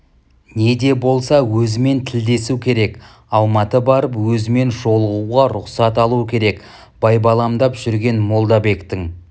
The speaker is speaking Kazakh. не де болса өзімен тілдесу керек алматы барып өзімен жолығуға рұқсат алу керек байбаламдап жүрген молдабектің